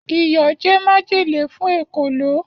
Iyọ̀ jẹ́ májèlé fún èkòló.